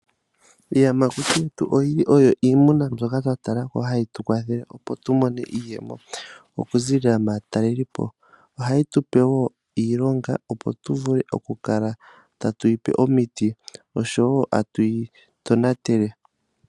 Iiyamakuti yetu oyili yimwe yomwaa mbyoka twa talako hayi tu kwathele, opo tu mone iiyemo oku ziilila maatalelipo. Oha yi tupe woo iilonga, opo tu vule oku kala tatu yipe omiti, oshowo tatu yi tonatele.